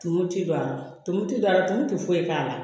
Tumu ti don a la tumu ti don a la tumu tɛ foyi k'a la